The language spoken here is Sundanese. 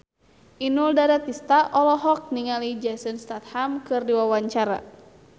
Inul Daratista olohok ningali Jason Statham keur diwawancara